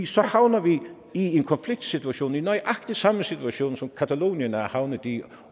så havner vi i en konfliktsituation i nøjagtig samme situation som catalonien er havnet i